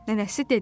Nənəsi dedi.